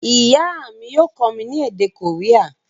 Ìyá mi yio kómí ni èdè Korea